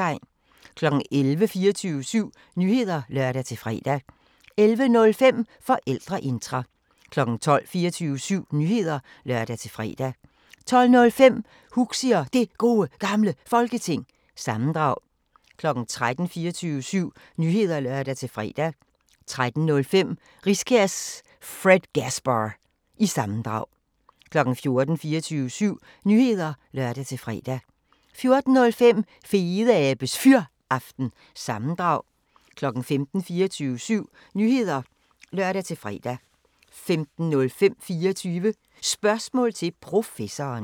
11:00: 24syv Nyheder (lør-fre) 11:05: Forældreintra 12:00: 24syv Nyheder (lør-fre) 12:05: Huxi og Det Gode Gamle Folketing – sammendrag 13:00: 24syv Nyheder (lør-fre) 13:05: Riskærs Fredgasbar- sammendrag 14:00: 24syv Nyheder (lør-fre) 14:05: Fedeabes Fyraften – sammendrag 15:00: 24syv Nyheder (lør-fre) 15:05: 24 Spørgsmål til Professoren